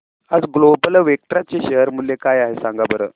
आज global Vectra चे share मूल्य काय आहे सांगा बरं